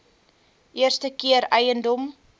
eerste keer eiendom